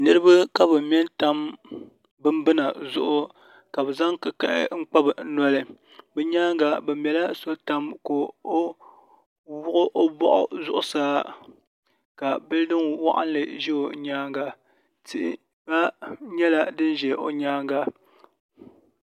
Niraba ka bi mɛ n tam bibbina zuɣu ka bi zaŋ kikahi n kpa bi noli bi nyaanga bi mɛla so tam ka o wuhi o boɣu zuɣusaa ka bildin waɣanli ʒɛ o nyaanga tihi gba nyɛla din ʒɛ o nyaanga